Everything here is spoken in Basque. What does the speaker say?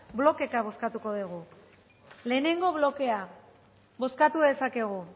blokeka bozkatuko dugu lehenengo blokea bozkatu dezakegu